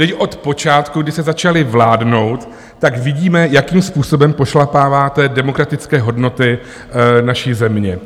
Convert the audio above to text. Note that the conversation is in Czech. Teď od počátku, kdy jste začali vládnout, tak vidíme, jakým způsobem pošlapáváte demokratické hodnoty naší země.